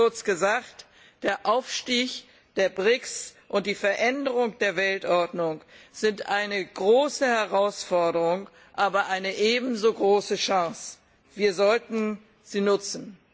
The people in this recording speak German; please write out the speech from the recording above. Kurz gesagt Der Aufstieg der BRICS und die Veränderung der Weltordnung sind eine große Herausforderung, aber eine ebenso große Chance wir sollten sie nutzen!